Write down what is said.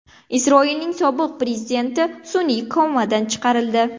Isroilning sobiq prezidenti sun’iy komadan chiqarildi.